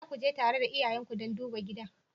Za ku je tare da iyayenku don duba gidan?